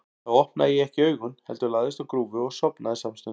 Þá opnaði ég ekki augun, heldur lagðist á grúfu og sofnaði samstundis.